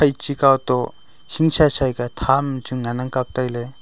eche kaw toh hing chei chei ka tham chu ngan ang kapley.